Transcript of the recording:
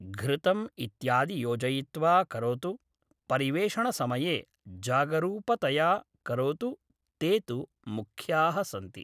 घृतम् इत्यादि योजयित्वा करोतु परिवेषणसमये जागरूपतया करोतु ते तु मुख्याः सन्ति